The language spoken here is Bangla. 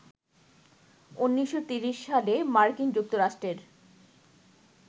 ১৯৩০ সালে মার্কিন যুক্তরাষ্ট্রের